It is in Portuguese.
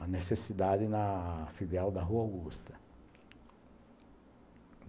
a necessidade na filial da Rua Augusta.